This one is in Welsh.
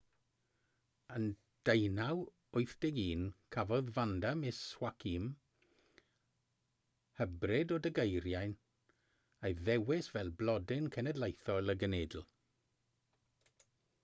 yn 1981 cafodd vanda miss joaquim hybrid o degeirian ei ddewis fel blodyn cenedlaethol y genedl